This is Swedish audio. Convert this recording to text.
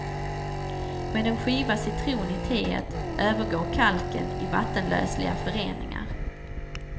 Med en skiva citron i teet övergår kalken i vattenlösliga föreningar.